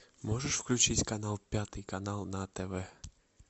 можешь включить канал пятый канал на тв